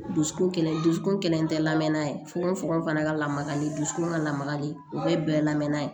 Dusukun kɛlen dusukun kelen tɛ lamɛn n'a ye fokon fokon fana ka lamakali dusukun ka lamagali o bɛɛ ye bɛɛ lamɛnna ye